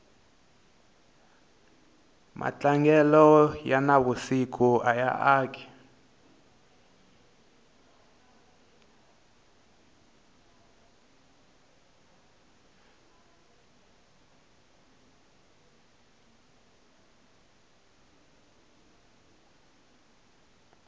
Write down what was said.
matlangelo ya na vusiku aya aki